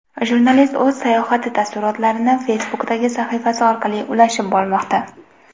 Jurnalist o‘z sayohati taassurotlarini Facebook’dagi sahifasi orqali ulashib bormoqda.